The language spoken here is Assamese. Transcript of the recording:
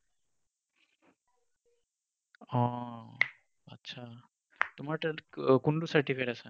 অ, অ, অ, আচ্ছা। তোমাৰ কোনটো certificate আছে?